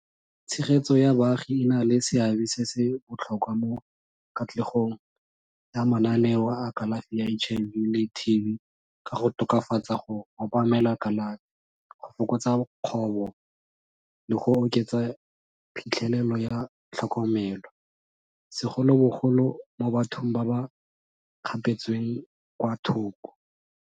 Tshegetso ya baagi e na le seabe se se botlhokwa mo katlegong ya mananeo a kalafi ya H_I_V le T_B ka go tokafatsa go obamela kalafi, go fokotsa kgobo, le go oketsa phitlhelelo ya tlhokomelo segolobogolo mo bathong ba ba kgapetsweng kwa thoko.